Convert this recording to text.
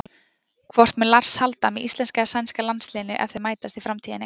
Hvort mun Lars halda með íslenska eða sænska landsliðinu ef þau mætast í framtíðinni?